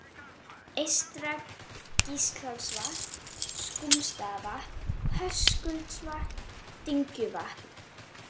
Eystra-Gíslholtsvatn, Skúmsstaðavatn, Höskuldsvatn, Dyngjuvatn